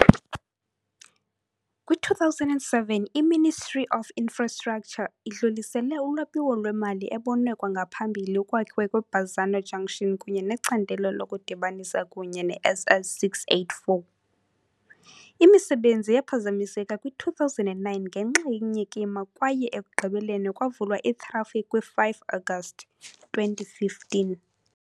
Kwi-2007 i -Ministry of Infrastructure idlulisele ulwabiwo lwemali ebonwe kwangaphambili ukwakhiwa kwe- Bazzano junction kunye necandelo lokudibanisa kunye ne-SS 684. Imisebenzi yaphazamiseka kwi-2009 ngenxa yenyikima kwaye ekugqibeleni kwavulwa i-traffic kwi-5 Agasti 2015.